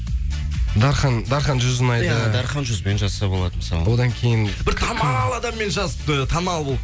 дархан дархан жүз ұнайды иә дархан жүз бен жазса болады мысалы одан кейін бір танымал адаммен жазыпты танымал болып